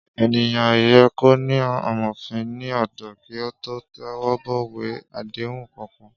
Éniyán yè kó ni àmófin ni òdò ki ótó tèwòbòwé àdéhún kànkán